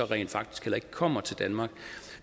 rent faktisk heller ikke kommer til danmark